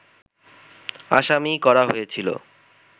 আসামি করা হয়েছিল